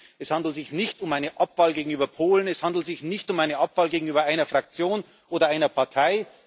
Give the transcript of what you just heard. Es handelt sich nicht um eine Abwahl gegenüber Polen, es handelt sich nicht um eine Abwahl gegenüber einer Fraktion oder einer Partei.